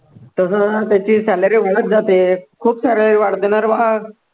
तसं तसं त्याची salary वाढतं जाते, खूप salary वाढते ना रे बा